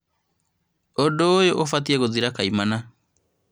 Ũndũ ũyũ ũbatie gũthira koimana